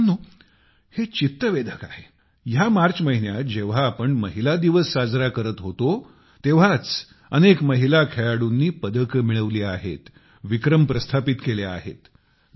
मित्रांनो हे चित्तवेधक आहे ह्या मार्च महिन्यातजेव्हा आम्ही महिला दिवस साजरा करत होतो तेव्हाच अनेक महिला खेळाडूंनी पदके मिळवली आहेत विक्रम प्रस्थापित केले आहेत